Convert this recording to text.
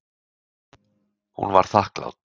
Hún var þakklát.